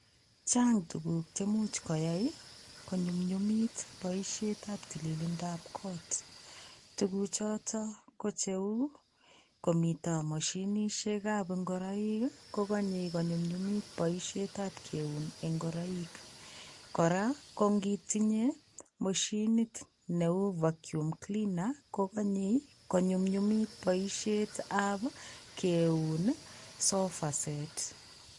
Chang' tukuk chemuch koyai konyumnyumit boishetab tililindab koot. Tukuchotok ko cheu komito moshinishekab ngoroik, kokanyei konyumnyumit boishetab kmeun ngoroik. Kora kongitinye moshinit neu vaccum cleaner kokanyei konyumnyumit boishetab keun sofa set.